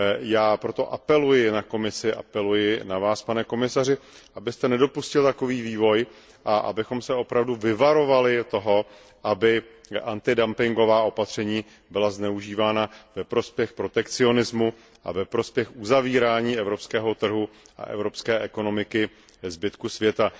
Já proto apeluji na Komisi, apeluji na Vás, pane komisaři, abyste nedopustil takový vývoj a abychom se opravdu vyvarovali toho, aby antidumpingová opatření byla zneužívána ve prospěch protekcionismu a ve prospěch uzavírání evropského trhu a evropské ekonomiky před zbytkem světa.